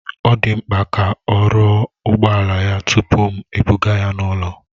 Ọ dị mkpa ka a rụọ ụgbọala ya tupu m ebuga ya n'ụlọ